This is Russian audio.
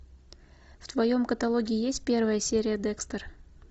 в твоем каталоге есть первая серия декстер